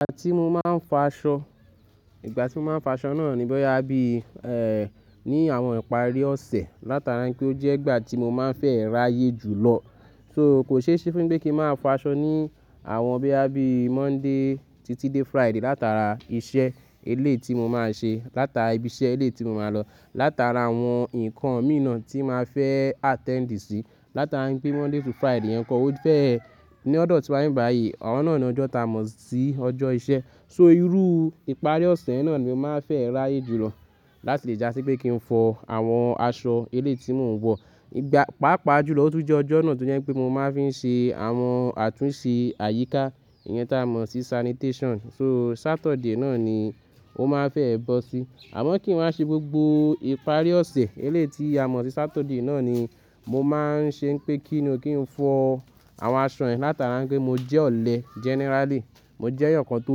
Ìgbà tí mo máa ń fọ aṣọ, ìgbà tí mo máa ń fọ aṣọ náà ni bóyá bí, eh, ní àwọn ìparí ọ̀sẹ̀ látara pé ó jẹ́ ìgbà tí mo máa ń fẹ́ ráyè jù lọ. So kò ṣe é ṣe fún mi pé kí ń máa fọ aṣọ ní àwọn bíi, bíi Monday títí dé Friday látara iṣẹ́ eléyìí ti mo máa ń ṣe, látara ibi iṣẹ́ elé ti mo máa lọ, látara àwọn nǹkan mi na tí màá fẹ́ attend sí, látara pé Monday to Friday ẹ̀kọ́ ó fẹ́, ní ọ̀dọ̀ tí wa n bibáyi, àwọn náà ni ọjọ́ ta mọ̀ sí ọjọ́ iṣẹ́. So irú ìparí ọ̀sẹ̀ náà ni mo máa ń fẹ́ ráyè jù lọ láti lè jásí pé kí n fọ àwọn aṣọ eléyìí tí mò ń wọ̀. Ìgbà, pàápàá jùlọ ó tún jẹ́ ọjọ́ náà tó jẹ́ pé mo máa ń fi ń ṣe àwọn àtúnṣe àyíká, ìyẹn tá a mọ̀ sí sanitation. So Saturday náà ni ó máa ń fẹ́ ẹ bọ́ sí. Àmọ́ kí n máa ṣe gbogbo ìparí ọ̀sẹ̀ eléyiit tí a mọ̀ sí Saturday náà ni mo máa ń ṣe pé kí ni, kí n fọ àwọn aṣọ ẹ̀ látara pé mo jẹ́ ọ̀lẹ generally, mo jẹ́ èèyàn kan tó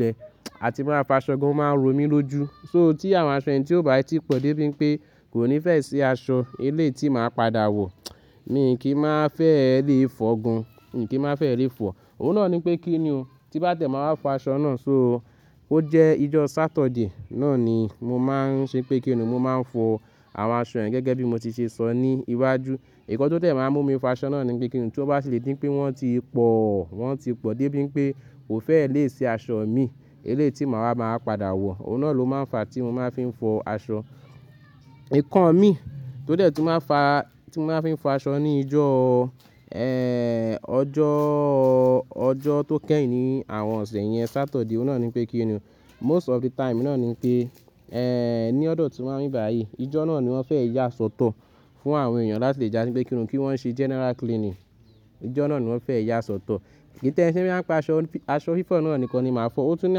lẹ àti máa fọ aṣọ gan-an, ó máa ń ro mí lójú. So tí àwọn aṣọ yẹn tí ó bá ti pọ̀ dé bíi pé kò ní fẹ́ si aṣọ eléyìí tí màá padà wọ̀, mi kì í máa fẹ́ lè fọ́ gan, mi kì í máa fẹ́ lè fọ. Òun náà ni pé kí ni o, tí bá tiẹ̀ ma wá fọ aṣọ náà. So ó jẹ́ ìjọ Saturday náà ni mo máa ń ṣe pé kí ni mo máa ń fọ àwọn aṣọ yẹn gẹ́gẹ́ bí mo ti ṣe sọ ní iwájú. Nkan tó dẹ máa ń mú mi fọ aṣọ náà ni pé kí ni tí ó bá tì lè dí pé wọ́n ti pọ̀, wọ́n ti pọ̀ dé bíi pé kò fẹ́ lè si aṣọ mi, eléyìí tí màá, màá padà wọ̀. Òun náà ló máa ń fa tí mo máa ń fi ń fọ aṣọ. Nkan mi tó dẹ̀ tun màá fa, tí màá fi ń fọ aṣọ ní ìjọ, eh, ọjọ́, ọjọ́ tó kẹ́yìn ní àwọn ọ̀sẹ̀ yẹn Saturday, òun náà ni pé kí ni, most of the time náà ni pé, ní ọ̀dọ̀ tí wa n bibayi, ìjọ náà ni wọ́n fẹ́ yá sọ́tọ̀ fún àwọn èèyàn láti lè jásí pé kí ni, kí wọ́n ṣe general cleaning. Ìjọ náà ni wọ́n fẹ́ yá sọ́tọ̀. Kìí tẹ́ n ṣe boya n pa aṣọ, aṣọ fífọ̀ náà nìkan ni màá fọ. Ó tún ní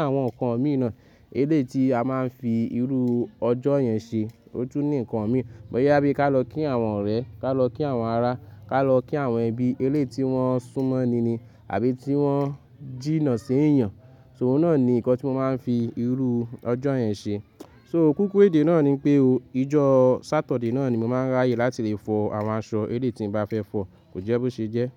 àwọn nǹkan mi na eléyìí ti a máa ń fi irú ọjọ́ yẹn ṣe. Ó tún ní nǹkan mi. Bóyá bí ká lọ kí àwọn ọ̀rẹ́, ká lọ kí àwọn ará, ká lọ kí àwọn ẹbí eléyìí tí wọ́n súnmọ́ ni ni àbí tí wọ́n jìnnà sí ẹ̀yàn. So òun náà ni ǹkan tí mo máa ń fi irú ọjọ́ yẹn ṣe. So kúkúrú èdè náà ni pé o, ìjọ Saturday náà ni mo máa ń ráyè láti lè fọ àwọn aṣọ eléyìí tí ń bá fẹ́ fọ̀. Kò jẹ́ bó ṣe jẹ́.